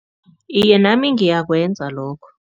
Iye, nami ngiyakwenza lokho.